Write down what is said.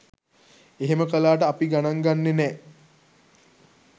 එහෙම කලාට අපිගනන් ගන්නෙ නෑ